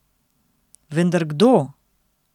Vendar kdo?